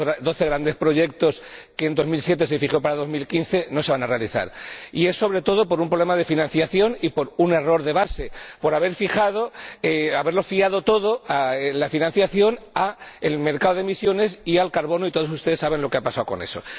Esos doce grandes proyectos que en 2007 se fijaron para 2015 no se van a realizar, sobre todo por un problema de financiación y por un error de base por haberlo fiado todo la financiación al mercado de emisiones y al carbono y todos ustedes saben lo que ha pasado con eso.